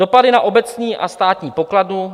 Dopady na obecní a státní pokladnu.